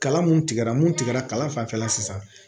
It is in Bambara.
Kalan mun tigɛra mun tigɛla kalan fanfɛla sisan